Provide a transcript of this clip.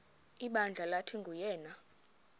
ibandla lathi nguyena